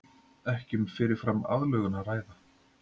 Ekki um fyrirfram aðlögun að ræða